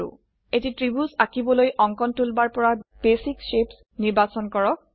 এটি ত্ৰিভুজ আঁকিবলৈ অঙ্কন ড্ৰাৱিং টুলবাৰ পৰা বেচিক শেপছ বেসিক শেপস নিৰ্বাচন কৰক